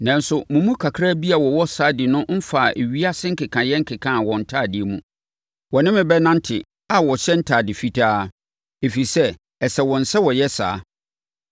Nanso, mo mu kakra bi a wɔwɔ Sardi no mfaa ewiase nkekaeɛ nkekaa wɔn ntadeɛ mu. Wɔne me bɛnante a wɔhyɛ ntadeɛ fitaa, ɛfiri sɛ, ɛsɛ wɔn sɛ wɔyɛ saa.